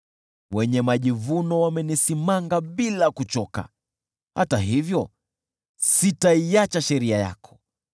Wenye majivuno wamenisimanga bila kuchoka, hata hivyo sitaiacha sheria yako.